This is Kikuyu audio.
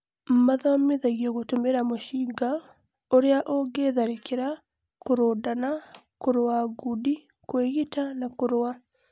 mathomithagio gũtũmĩra mũcinga, ũria ũngitharikira, kũrũndana, kũrũa ngundi, kwĩgita na kũrũa